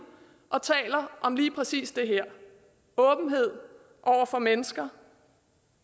og taler om lige præcis det her åbenhed over for mennesker